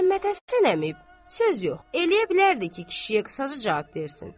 Məmmədhəsən əmi, söz yox, eləyə bilərdi ki, kişiyə qısaca cavab versin.